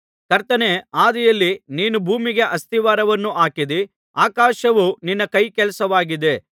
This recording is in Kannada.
ಕರ್ತನೇ ಆದಿಯಲ್ಲಿ ನೀನು ಭೂಮಿಗೆ ಅಸ್ತಿವಾರವನ್ನು ಹಾಕಿದ್ದೀ ಆಕಾಶವು ನಿನ್ನ ಕೈಕೆಲಸವಾಗಿದೆ